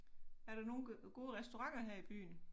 Er der nogle gode restauranter her i byen?